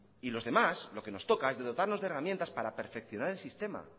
y los demás lo que nos toca es de dotarnos de herramientas para perfeccionar el sistema